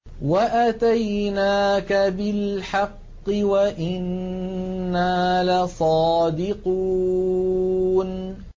وَأَتَيْنَاكَ بِالْحَقِّ وَإِنَّا لَصَادِقُونَ